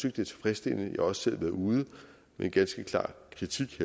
at det er tilfredsstillende også selv været ude med en ganske klar kritik